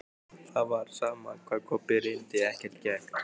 Það var sama hvað Kobbi reyndi, ekkert gekk.